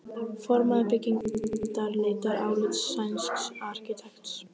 Formaður byggingarnefndar leitar álits sænsks arkitekts.